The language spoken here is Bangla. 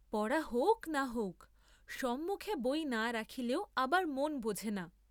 পড়া হৌক্‌ না হৌক্‌, সম্মুখে বই না রাখিলেও আবার মন বোঝে না।